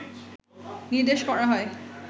নির্দেশ করা হয়